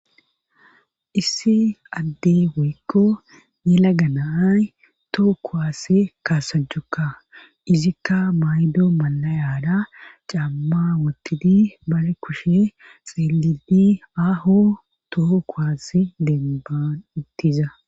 Issi adde woykko nela ganaay too kuwaase kaasajjukka izikka maydo malayaada camma wottidi bare kushe xielidi aaho too kowasi demban ittiza.